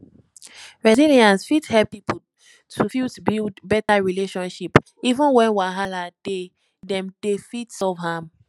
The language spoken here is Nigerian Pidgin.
resilience fit help pipo to fit build better relationship even when wahala dey dem dey fit solve am